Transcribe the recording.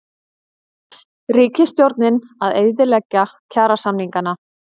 Ríkisstjórnin að eyðileggja kjarasamningana